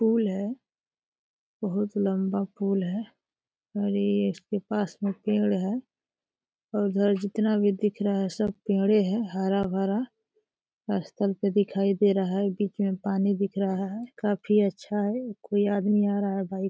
पुल है। बहोत लंबा पुल है और इसके पास में एक पेड़ है और इधर जितना भी दिख रहा है सब पेड़े है हरा-भरा। स्थल पे दिख रहा है। बीच में पानी दिख रहा है। काफी अच्छा है। कोई आदमी आ रहा है बाइक से।